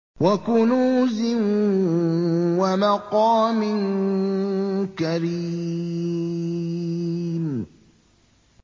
وَكُنُوزٍ وَمَقَامٍ كَرِيمٍ